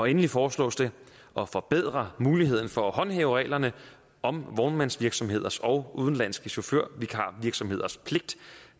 endelig foreslås det at forbedre mulighederne for at håndhæve reglerne om vognmandsvirksomheders og udenlandske chaufførvikarvirksomheders pligt